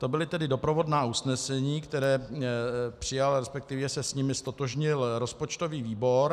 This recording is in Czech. To byla tedy doprovodná usnesení, které přijal, respektive se s nimi ztotožnil rozpočtový výbor.